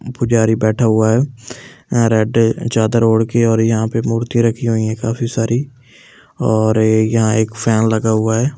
पुजारी बैठा हुआ है अह रेड चादर ओड़के और यहाँ पे मूर्ति राखी हुई है काफ़ी सारी और ये यहाँ एक फैन लगा हुआ है।